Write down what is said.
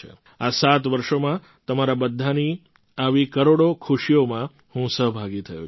આ સાત વર્ષોમાં તમારા બધાની આવી કરોડો ખુશીઓમાં હું સહભાગી થયો છું